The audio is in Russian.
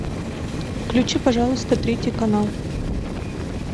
включи пожалуйста третий канал